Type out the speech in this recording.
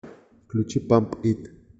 включить памп ит